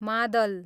मादल